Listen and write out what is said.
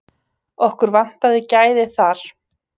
Okkur vantaði gæði þar.